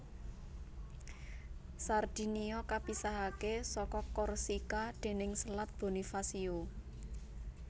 Sardinia kapisahaké saka Korsika déning Selat Bonifacio